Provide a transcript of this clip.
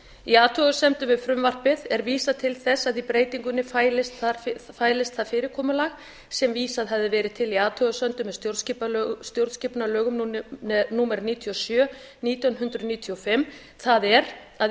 í athugasemdum við frumvarpið er vísað til þess að í breytingunni fælist það fyrirkomulag sem vísað hefði verið til í athugasemdum með stjórnarskipunarlögum númer níutíu og sjö nítján hundruð níutíu og fimm það er að